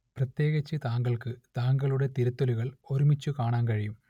പ്രത്യേകിച്ച് താങ്കൾക്ക് താങ്കളുടെ തിരുത്തലുകൾ ഒരുമിച്ച് കാണാൻ കഴിയും